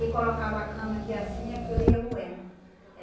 E colocava a cana aqui, assim, aquilo ia moendo.